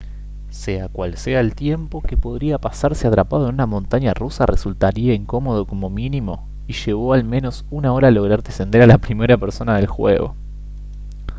sea cual sea el tiempo que podría pasarse atrapado en una montaña rusa resultaría incómodo como mínimo y llevó al menos una hora lograr descender a la primera persona del juego»